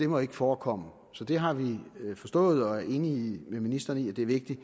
må forekomme det har vi forstået og vi er enige med ministeren i at det er vigtigt